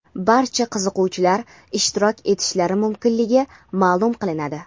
barcha qiziquvchilar ishtirok etishlari mumkinligi maʼlum qilinadi.